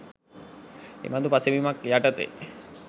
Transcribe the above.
එබඳු පසුබිමක් යටතේ